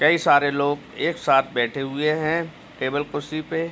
कई सारे लोग एक साथे बैठे हुए है टेबल कुर्सी पे --